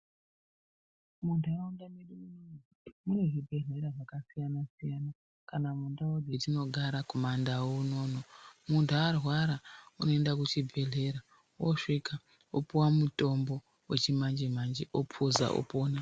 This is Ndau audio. Munharaunda medu munoumu mune zvibhehlera zvakasiyanasiyana kana mundau dzatinogara kumandau unono muntu arwara unoenda kuchibhehlera osvika opiwa mutombo wechimanje manje opuza opona.